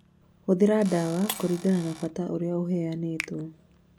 Hũthĩra dawa kũringana na bata ũrĩa ũheanĩtwo.